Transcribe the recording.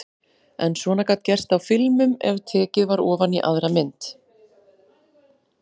En svona gat gerst á filmum ef tekið var ofan í aðra mynd.